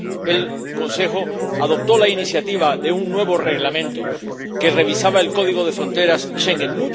el Consejo adoptó la iniciativa de un nuevo Reglamento que revisaba el código de fronteras Schengen.